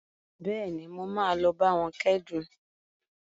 Bẹ́ẹ̀ni, mo máa lọ bá wọn kẹ́dùn